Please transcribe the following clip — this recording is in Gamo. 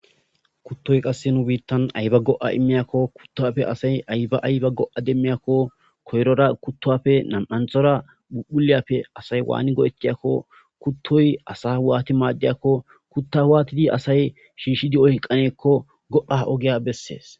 kuttoy qasse nu biittan ayba go7a immiyakko kuttafe asay ayba ayba go7a demmiyakko koyrora kuttopfe nam7anthora bhuphuliyappe asay waani go7ettiyakko kuttoy asa waati maaddiyakko kutta waatidi asay shiishshi di7o hqqaneekko go7a ogiya bessees